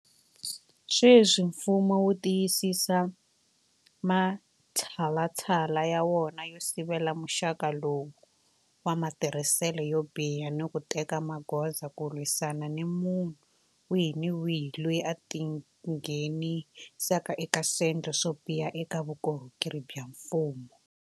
Sweswi mfumo wu tiyisisa matshalatshala ya wona yo sivela muxaka lowu wa matirhiselo yo biha ni ku teka magoza ku lwisana ni munhu wihi ni wihi loyi a tingheni saka eka swendlo swo biha eka vukorhokeri bya mfumo.